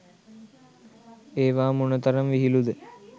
ඒවා මොන තරම් විහිළුද?